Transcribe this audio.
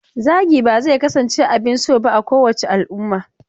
Zagi ba zai kasance abin so ba a kowace al'umma.